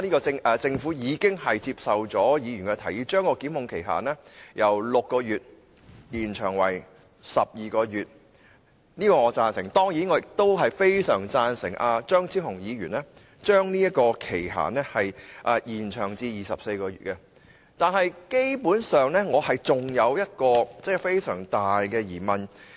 雖然政府已接受了議員的提議，把檢控期限由6個月延長至12個月，對此我表示贊成，但我亦相當贊成張超雄議員的修正案，再把期限延長至24個月，可是，我仍然有一個相當大的疑問。